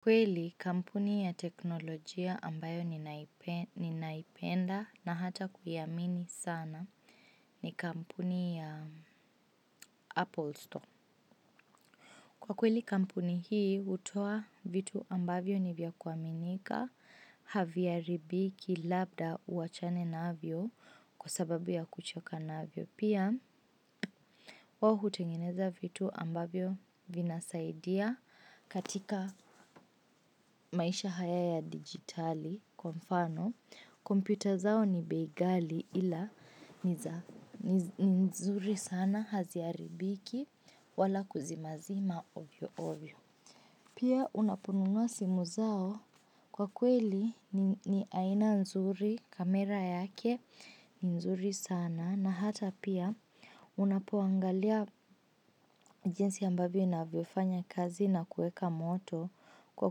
Kweli kampuni ya teknolojia ambayo ninaipenda na hata kuiamini sana ni kampuni ya Apple Store. Kwa kweli kampuni hii hutoa vitu ambavyo ni vya kuaminika, haviharibiki labda uachane navyo kwa sababu ya kuchoka navyo. Pia, wao hutengeneza vitu ambavyo vinasaidia katika maisha haya ya digitali kwa mfano. Kompyuta zao ni bei ghali ila ni nzuri sana haziharibiki wala kuzimazima ovyo ovyo. Pia, unaponunua simu zao kwa kweli ni aina nzuri kamera yake ni nzuri sana. Na hata pia unapoangalia jinsi ambavyo inavyofanya kazi na kuweka moto kwa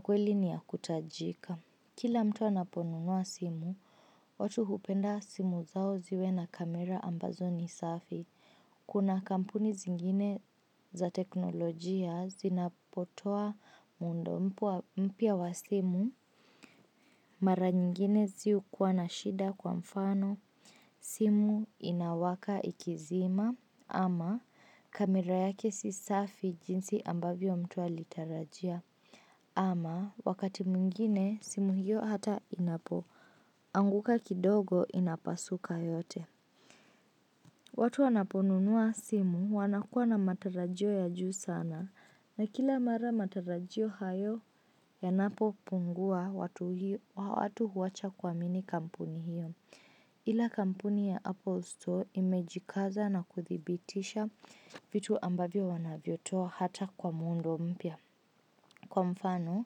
kweli ni ya kutajika. Kila mtu anaponunua simu, watu hupenda simu zao ziwe na kamera ambazo ni safi. Kuna kampuni zingine za teknolojia zinapotoa muundo mpya wa simu. Mara nyingine zihukuwa na shida kwa mfano simu inawaka ikizima ama kamera yake si safi jinsi ambavyo mtu alitarajia ama wakati mwingine simu hiyo hata inapoanguka kidogo inapasuka yote. Watu wanaponunua simu wanakuwa na matarajio ya juu sana na kila mara matarajio hayo yanapopungua watu huwacha kuamini kampuni hiyo. Ila kampuni ya Apple Store imejikaza na kuthibitisha vitu ambavyo wanavyotoa hata kwa muundo mpya. Kwa mfano,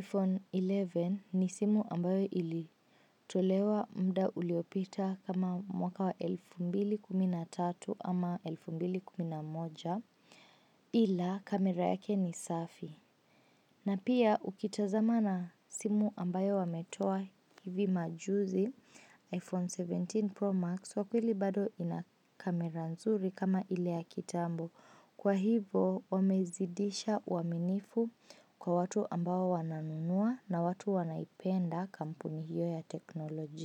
iPhone kumi na moja ni simu ambayo ilitolewa muda uliopita kama mwaka wa elfu mbili kumi na tatu ama elfu mbili kumi na moja ila kamera yake ni safi. Na pia ukitazama na simu ambayo wametoa hivi majuzi iPhone kumi na saba Pro Max kwa kweli bado ina kamera nzuri kama ile ya kitambo. Kwa hivo wamezidisha uaminifu kwa watu ambao wananunua na watu wanaipenda kampuni hiyo ya kiteknolojia.